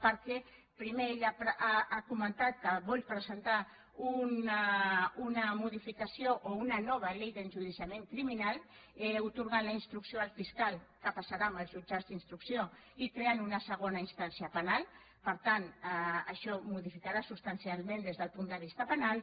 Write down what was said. perquè primer ell ha comentat que vol presentar una modificació o una nova llei d’enjudiciament criminal atorgant la instrucció al fiscal que passarà als jutjats d’instrucció i creant una segona instància penal per tant això modificarà substancialment des del punt de vista penal